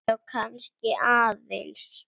Já, kannski aðeins.